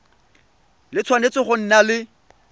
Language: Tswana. le tshwanetse go nna le